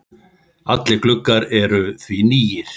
Allir gluggar eru því nýir.